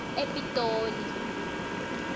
epitoli